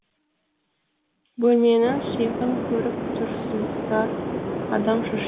бөлменің сиқын көріп тұрсыздар адам шошиды